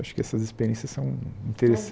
Acho que essas experiências são